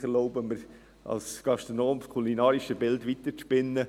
ich erlaube mir, als Gastronom das kulinarische Bild weiterzuspinnen.